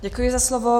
Děkuji za slovo.